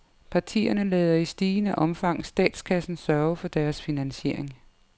Partierne lader i stigende omfang statskassen sørge for deres finansiering.